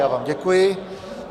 Já vám děkuji.